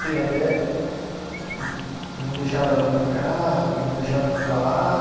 Teve até. Tipo, não deixava ela ir para casa, não deixava eu ficar lá.